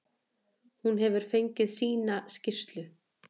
Hún hefur fengið sína skýrslu.